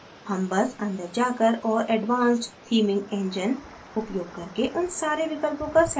हम बस अंदर जाकर और advanced theming engine उपयोग करके उन सारे विकल्पों का setअप कर सकते हैं